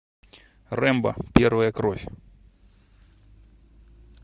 рэмбо первая кровь